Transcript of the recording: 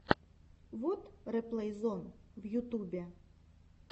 вот реплей зон в ютубе